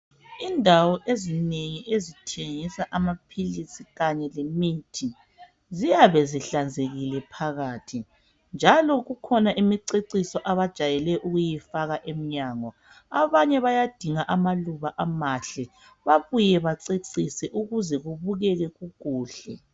Indawo ezinengi ezithengisa amaphilisi kanye lemithi ziyabe zihlanzekile phakathi njalo kukhona imiceciso abajayele ukuyifaka emnyango abanye bayadinga amaluba amahle babuye bacecise ukuze kubukeke kukuhle.